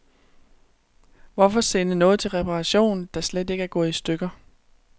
Hvorfor sende noget til reparation, der slet ikke er gået i stykker.